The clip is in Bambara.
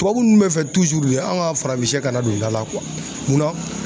Tubabu nunnu be fɛ tuzuru de anw ka farafinsɛ kana don da la kuwa mun na